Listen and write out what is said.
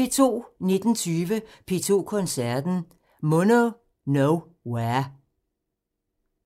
19:20: P2 Koncerten – Mono no ware